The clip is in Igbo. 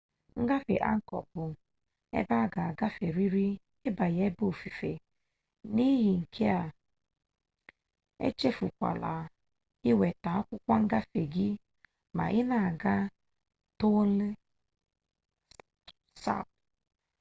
ngafe angkọ bụ ebe a ga agaferịrị ịbanye ebe ofufe n'ihi nke a echefukwala iweta akwụkwọ akwụkwọ ngafe gị ma ị na-aga tonle sap